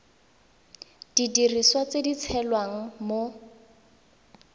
didiriswa tse di tshelang mo